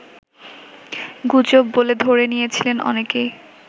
গুজব বলে ধরে নিয়েছিলেন অনেকেই